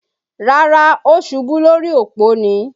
Rárá, ó ṣubú lórí òpó ni